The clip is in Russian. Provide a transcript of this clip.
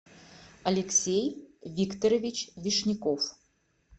алексей викторович вишняков